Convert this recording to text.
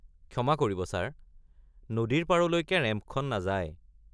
ক্ষমা কৰিব ছাৰ। নদীৰ পাৰলৈকে ৰেম্পখন নাযায়।